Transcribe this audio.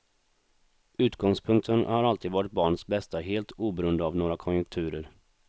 Utgångspunkten har alltid varit barnens bästa helt oberoende av några konjunkturer.